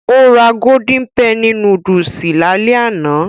Ó ra golden penny núdúsì lálẹ́ àná